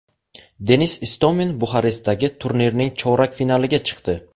Denis Istomin Buxarestdagi turnirning chorak finaliga chiqdi.